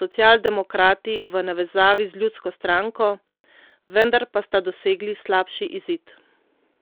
socialdemokrati v navezavi z Ljudsko stranko, vendar pa sta dosegli slabši izid.